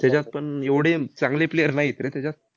त्याच्यात पण एवढे चांगले player नाहीत रे त्याच्यात.